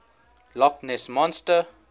loch ness monster